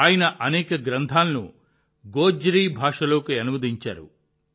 ఆయన అనేక గ్రంథాలను గోజ్రీ భాషలోకి అనువదించారు